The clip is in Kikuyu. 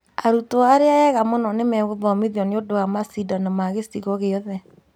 Arutwo arĩa ega mũno nĩmegũthomithio nĩũndũ wa macindano ma gĩcigo gĩothe